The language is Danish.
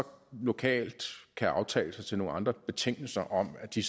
lokalt kan aftales nogle andre betingelser om at de